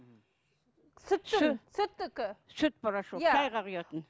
сүттікі сүт порошок иә шайға құятын